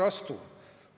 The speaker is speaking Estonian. Koer, astu!